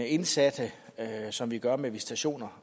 indsatte som vi gør med visitationer